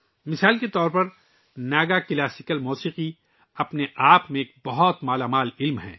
مثال کے طور پر، ناگا لوک موسیقی اپنے آپ میں ایک بہت مالا مال صنف ہے